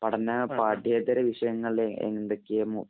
പഠന പാഠേൃതര വിഷയങ്ങള്‍ എന്തൊക്കെയെന്നും,